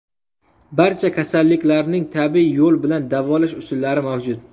Barcha kasalliklarning tabiiy yo‘l bilan davolash usullari mavjud.